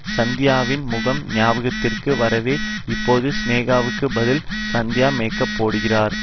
சந்தியாவின் முகம் ஞாபகத்திற்கு வரவே இப்போது சினேகாவுக்கு பதில் சந்தியா மேக்கப் போடுகிறார்